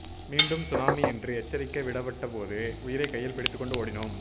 மீண்டும் சுனாமி என்று எச்சரிக்கை விடப்பட்ட போது உயிரை கையில் பிடித்துக் கொண்டு ஓடினோம்